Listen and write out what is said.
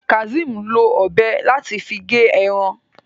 Kazeem ló Ọ̀bẹ láti fí ge èràn